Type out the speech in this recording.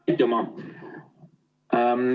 Aitüma!